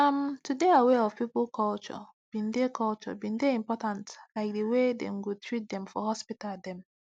um to dey aware of people culture bin dey culture bin dey important like the way dem go treat dem for hospital dem